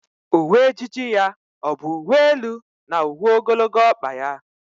Uwe ejiji ya ọ bụ uwe elu na uwe ogologo ọkpa ya?